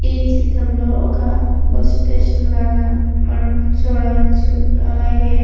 ఈ చిత్రంలో ఒక బస్సు స్టేషన్ లాగా మనం చూడవచ్చు అలాగే --